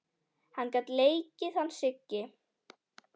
Hann gat leikið hann Siggi.